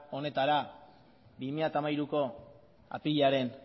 honetara bi mila hamairuko apirilaren